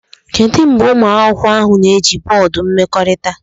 Kedu mgbe ụmụ akwụkwọ ahụ na-eji bọọdụ mmekọrịta?